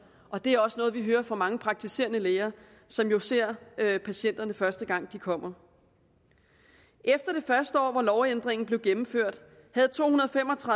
og det er også noget vi hører fra mange praktiserende læger som jo ser patienterne første gang de kommer efter det første år hvor lovændringen blev gennemført havde tohundrede